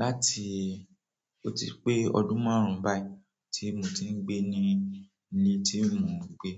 láti ó ti pé ọdún márùn-ún báyìí tí mo ti ń gbé ni ni tí mo ń gbé.